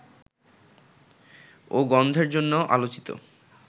ও গন্ধের জন্য আলোচিত